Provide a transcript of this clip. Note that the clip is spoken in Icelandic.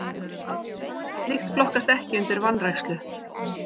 Slíkt flokkast ekki undir vanrækslu.